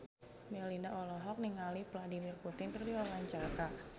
Melinda olohok ningali Vladimir Putin keur diwawancara